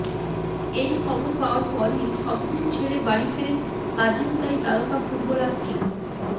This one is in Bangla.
এই খবর পাওয়ার পরই সবকিছু ছেড়ে বাড়ি ফেরেন আর্জেন্তাই তারকা ফুটবলারটি